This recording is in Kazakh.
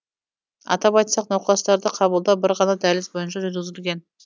атап айтсақ науқастарды қабылдау бір ғана дәліз бойынша жүргізілген